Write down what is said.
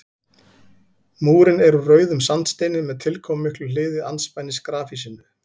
Múrinn er úr rauðum sandsteini með tilkomumiklu hliði andspænis grafhýsinu.